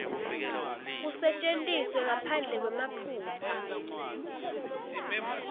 kusetjentiswe ngaphandle kwemaphutsa